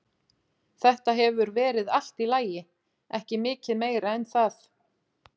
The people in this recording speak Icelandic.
Þetta hefur verið allt í lagi, ekki mikið meira en það.